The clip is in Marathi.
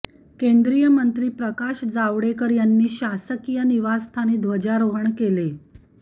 केंद्रीय मंत्री प्रकाश जावडेकर यांनी शासकीय निवासस्थानी ध्वजारोहण केले